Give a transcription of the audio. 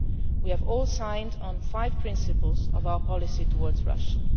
just one month ago. We have all signed off on five principles of our policy